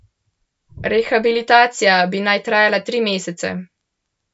Rehabilitacija bi naj trajala tri mesece.